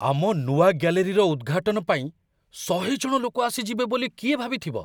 ଆମ ନୂଆ ଗ୍ୟାଲେରୀର ଉଦ୍‌ଘାଟନ ପାଇଁ ୧୦୦ ଜଣ ଲୋକ ଆସିଯିବେ ବୋଲି କିଏ ଭାବିଥିବ?